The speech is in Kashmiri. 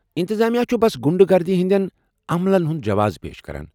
انتظامیہ چُھ بس غنڈٕ گردی ہنٛدین عملن ہُنٛد جواز پیش کران۔